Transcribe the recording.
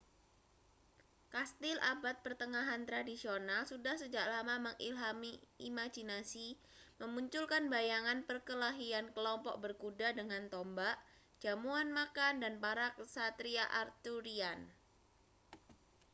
kastil abad pertengahan tradisional sudah sejak lama mengilhami imajinasi memunculkan bayangan perkelahian kelompok berkuda dengan tombak jamuan makan dan para ksatria arthurian